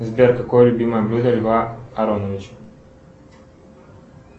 сбер какое любимое блюдо льва ароновича